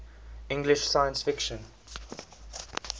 english science fiction